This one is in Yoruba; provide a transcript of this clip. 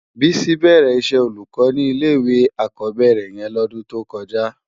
Bisi bèrè iṣè ólúkò ni ilé iwé ákòbèrè yèn lòdun tókòjá